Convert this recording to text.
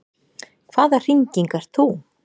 Hvaða hringing ert þú?